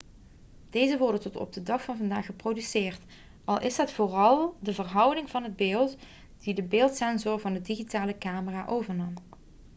deze worden tot op de dag van vandaag geproduceerd al is het vooral de verhouding van het beeld die de beeldsensor van de digitale camera overnam